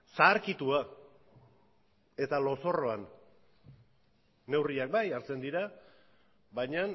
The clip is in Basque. zaharkitua eta lozorroan neurriak bai hartzen dira baina